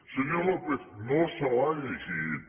senyor lópez no se l’ha llegida